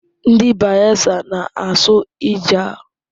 Ndị Bayelsa na-asụ Ijaw.